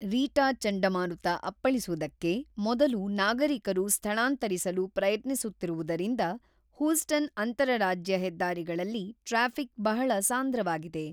Rita ಚಂಡಮಾರುತ ಅಪ್ಪಳಿಸುದಕ್ಕೆ ಮೊದಲು ನಾಗರಿಕರು ಸ್ಥಳಾಂತರಿಸಲು ಪ್ರಯತ್ನಿಸುತ್ತಿರುವುದರಿಂದ ಹೂಸ್ಟನ್ ಅಂತರರಾಜ್ಯ ಹೆದ್ದಾರಿಗಳಲ್ಲಿ ಟ್ರಾಫಿಕ್ ಬಹಳ ಸಾಂದ್ರವಾಗಿದೆ.